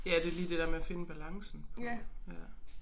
Ja det lige det der med at finde balancen på ja